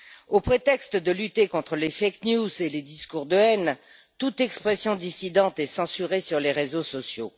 Au prétexte de lutter contre les fake news et les discours de haine, toute expression dissidente est censurée sur les réseaux sociaux.